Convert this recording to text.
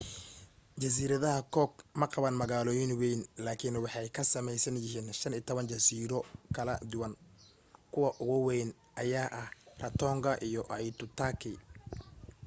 jasiiradaha cook maqaban magaalooyin wayn laakin waxay ka samaysan yihiin 15 jasiiro kala duwan kuwa ugu wayn ayaa ah rarotonga iyo aitutaki